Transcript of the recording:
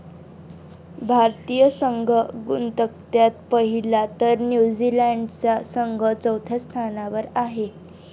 भारतीय संघ गुणतक्त्यात पहिल्या तर न्यूझीलंडचा संघ चौथ्या स्थानावर आहे.